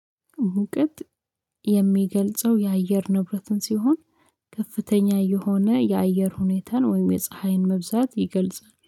ሙቀት የሚገልጸው የአየር ንብረትን ሲሆን ከፍተኛ የሆነ የአየር ሁኔታን ወይም የፀሀይን መብዛት ይገልጻል